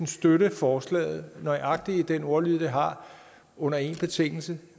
støtte forslaget nøjagtig med den ordlyd det har under en betingelse